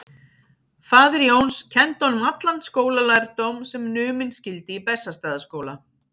Faðir Jóns kenndi honum allan skólalærdóm sem numinn skyldi í Bessastaðaskóla.